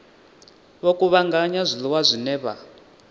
vho kuvhanganya zwiḽiwa zwine vha